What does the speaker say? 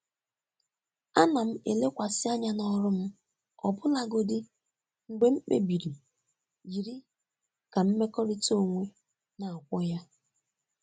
Ana m elekwasị anya n'ọrụ m ọbụlagodi mgbe mkpebi yiri ka mmekọrịta onwe na-akwọ ya.